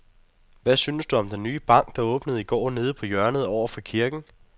Hvad synes du om den nye bank, der åbnede i går dernede på hjørnet over for kirken?